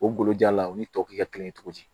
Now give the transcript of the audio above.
O golojan la u ni tɔw kɛ kelen ye cogo di